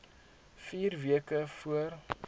vier weke voor